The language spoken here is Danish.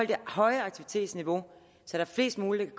det høje aktivitetsniveau så flest muligt